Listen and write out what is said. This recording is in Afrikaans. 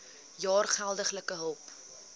jaar geldelike hulp